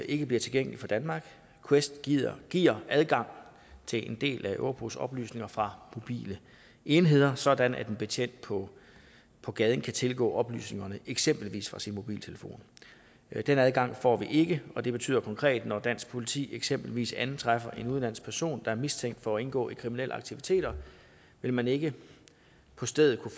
ikke bliver tilgængelig for danmark quest giver giver adgang til en del af europols oplysninger fra mobile enheder sådan at en betjent på på gaden kan tilgå oplysningerne eksempelvis fra sin mobiltelefon den adgang får vi ikke og det betyder konkret at når dansk politi eksempelvis antræffer en udenlandsk person der er mistænkt for at indgå i kriminelle aktiviteter vil man ikke på stedet kunne